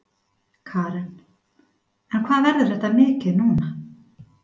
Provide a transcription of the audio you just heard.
Karen: En hvað verður þetta mikið núna?